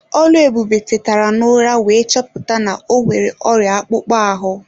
Oluebube tetara n'ụra wee chọpụta na o nwere ọrịa akpụkpọ ahụ.